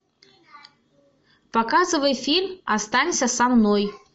показывай фильм останься со мной